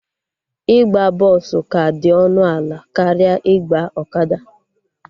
Ịgba bọsụ ka dị ọnụ ala karịa ịgba ọkada